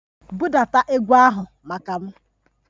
Budata egwu ahụ maka m!